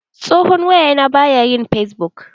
Tsohon waya na baya yin fesbuk.